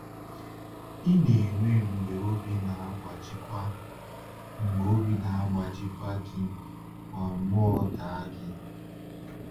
Ị na-enwe mgbe obi na-agbajikwa mgbe obi na-agbajikwa gị ma mmụọ daa gị?